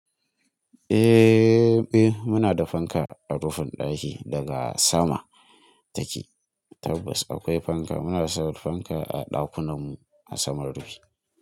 Eh, eh, muna da fanka a rufin ɗaki daga sama take. Tabbas akwai fanka. Muna sa fanka a ɗakunan mu a saman rufi.